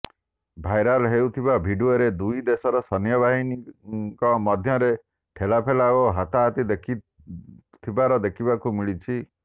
viral ହେଉଥିବା ଭିଡିଓରେ ଦୁଇ ଦେଶର ସୈନ୍ୟବାହିନୀଙ୍କ ମଧ୍ୟରେ ଠେଲାପେଲା ଓ ହାତାହାତି ହେଉଥିବାର ଦେଖିବାକୁ ମିଳିଛି